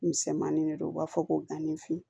Misɛnmanin de don u b'a fɔ ko ganninfi